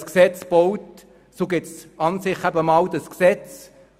Wenn ein Gesetz gebaut wird, so gibt es erst einmal das Gesetz.